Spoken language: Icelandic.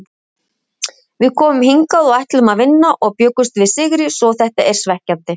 Við komum hingað og ætluðum að vinna og bjuggumst við sigri svo þetta er svekkjandi.